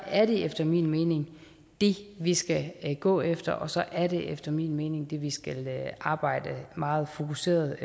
er det efter min mening det vi skal gå efter og så er det efter min mening det vi skal arbejde meget fokuseret